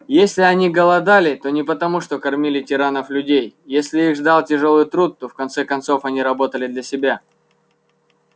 если они голодали то не потому что кормили тиранов-людей если их ждал тяжёлый труд то в конце концов они работали для себя